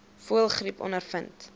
voëlgriep ondervind